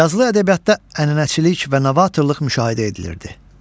Yazılı ədəbiyyatda ənənəçilik və novatorluq müşahidə edilirdi.